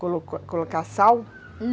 Colo colocar sal?